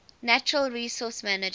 natural resource management